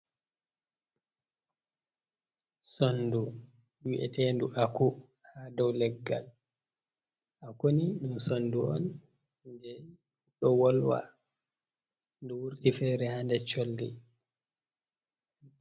Sondu wi’etendu aku ha dow leggal, akuni ɗum sondu on je ɗo wolwa ɗo wurti fere ha nder colli.